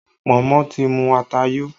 Pọ̀nmọ́ ti mu ata yo